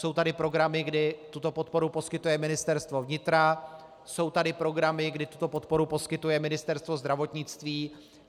Jsou tady programy, kdy tuto podporu poskytuje Ministerstvo vnitra, jsou tady programy, kdy tuto podporu poskytuje Ministerstvo zdravotnictví.